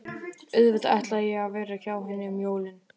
Auðvitað ætlaði ég að vera hjá henni um jólin.